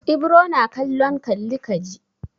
Ibro na kallon kalli ka ji.